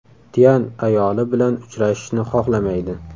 Tyan ayoli bilan uchrashishni xohlamaydi.